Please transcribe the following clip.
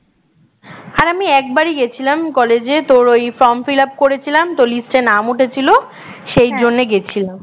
আরে আমি একবারই গেছিলাম কলেজে তোর ওই form fillup করেছিলাম তো list এ নাম উঠেছিল সেই জন্যে গেছিলাম